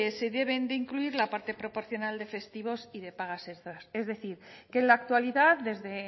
se deben de incluir la parte proporcional de festivos y de pagas extras es decir que en la actualidad desde